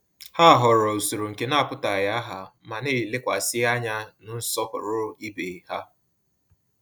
Ha họọrọ usoro nke na-apụtaghị aha, ma na-elekwasị anya na nsọpụrụ ibe ha.